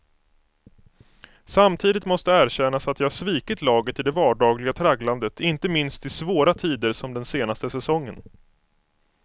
Samtidigt måste erkännas att jag svikit laget i det vardagliga tragglandet, inte minst i svåra tider som den senaste säsongen.